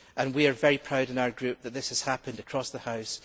We are very proud in our group that this has happened across the House.